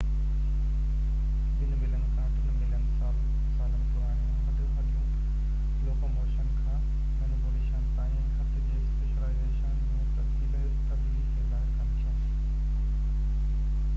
ٻن ملين کان ٽي ملين سالن پراڻيون هڏ هڏيون لوڪوموشن کان مينيپيوليشن تائين هٿ جي اسپيشلائيزيشن ۾ تبديلي کي ظاهر ڪن ٿيون